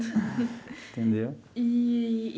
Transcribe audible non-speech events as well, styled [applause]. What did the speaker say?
[laughs] Entendeu? Eee.